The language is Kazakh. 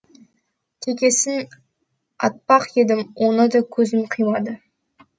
текесін атпақ едім оны да көзім қимады